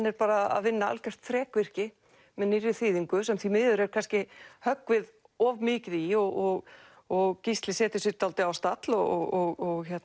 er að vinna algjört þrekvirki með nýrri þýðingu sem því miður er kannski höggvið of mikið í og og Gísli setur sig dálítið á stall og